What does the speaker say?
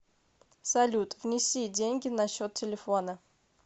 салют внеси деньги на счет телефона